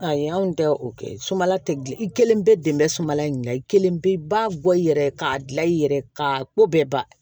Ayi anw tɛ o kɛ sumala tɛ gilan i kelen bɛ dɛmɛ sumala ɲuman na i kelen bɛ ba bɔ i yɛrɛ k'a dilan i yɛrɛ ka ko bɛɛ ba